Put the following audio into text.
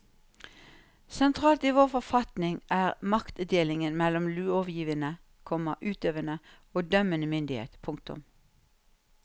Sentralt i vår forfatning er maktdelingen mellom lovgivende, komma utøvende og dømmende myndighet. punktum